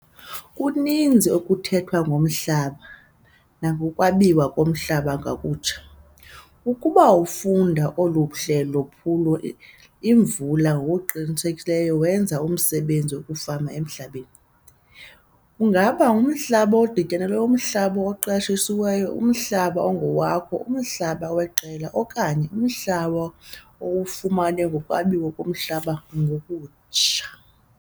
Kuninzi okuthethwa ngomhlaba nangokwabiwa komhlaba ngokutsha. Ukuba ufunda olu hlelo phuloy Imvula ngokuqinisekileyo wenza umsebenzi wokufama emhlabeni - kungaba ngumhlaba odityanelweyo, umhlaba oqeshiweyo, umhlaba ongowakho, umhlaba weqela okanye umhlaba owufumene ngokwabiwa komhlaba ngokutsha.